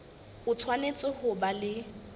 o tshwanetse ho ba le